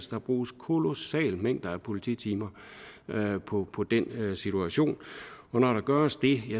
der bruges kolossale mængder af polititimer på på den situation og når der gøres det